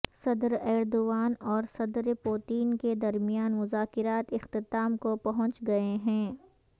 صدر ایردوان اور صدر پوتین کے درمیان مذاکرات اختتام کو پہنچ گئے ہیں